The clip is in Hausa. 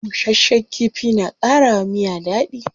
Bushasshen kifi na kara wa miya dadi.